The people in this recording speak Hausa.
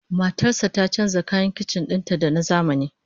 Matar sa ta canja kayan kicin din ta da na zamani